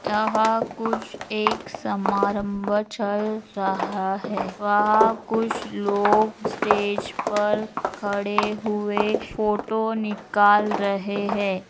यहाँ कुछ एक समरंभ चल रहा है । वहाँ कुछ लोग स्टेज पे खड़े हुए फोटो निकाल रहे है ।